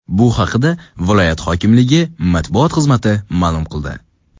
Bu haqda viloyat hokimligi matbuot xizmati ma’lum qildi .